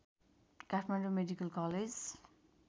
Kathmandu medical college